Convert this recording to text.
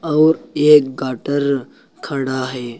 और एक गाटर खड़ा है।